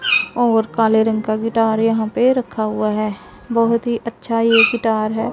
और काले रंग का गिटार यहां पे रखा हुआ है बहोत ही अच्छा ये गिटार है।